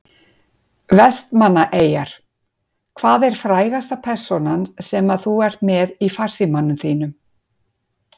Vestmannaeyjar Hvað er frægasta persónan sem að þú ert með í farsímanum þínum?